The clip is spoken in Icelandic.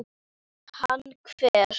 Hann hver?